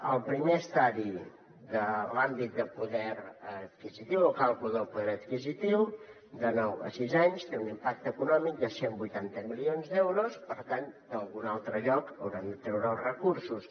el primer estadi de l’àmbit de poder adquisitiu o càlcul del poder adquisitiu de nou a sis anys té un impacte econòmic de cent i vuitanta milions d’euros per tant d’algun altre lloc haurem de treure els recursos